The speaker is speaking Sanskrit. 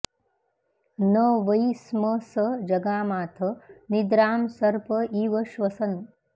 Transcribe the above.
न वै स्म स जगामाथ निद्रां सर्प इव श्वसन्